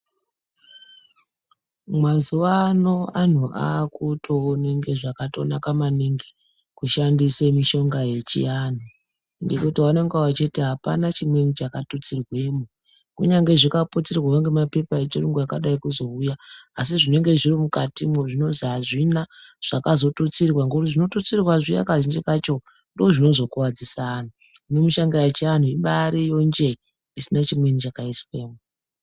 Mazuwa ano anhu akutoona kunga zvakanaka maniingi kushandise mishonga yechianhu ngekuti anonga achiti apana chimweni chakatutsiremwo kunyange zvikaputirwe ngemapepa echiyungu akadai kuzouya asi zvinenge zvirimukati mwo zvinozi azvina zvakazotutsirwa ngookuti zvinotutsirwa zviya kazhinji kacho ndizvo zvinozokuwadzise antu, hino mishonga yechiantu ibaariyo njee isina chimweni chakaiswemo.